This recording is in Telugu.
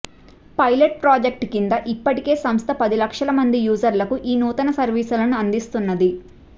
పైలెట్ ప్రాజెక్టు కింద ఇప్పటికే సంస్థ పది లక్షల మంది యూజర్లకు ఈ నూతన సర్వీసులను అందిస్తున్నది